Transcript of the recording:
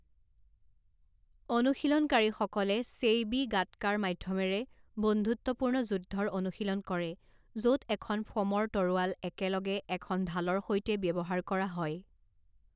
অনুশীলনকাৰীসকলে চেইবি গাটকাৰ মাধ্য়মেৰে বন্ধুত্বপূৰ্ণ যুদ্ধৰ অনুশীলন কৰে য'ত এখন ফ'মৰ তৰোৱাল একেলগে এখন ঢালৰ সৈতে ব্যৱহাৰ কৰা হয়।